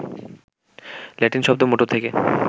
Latin শব্দ motor থেকে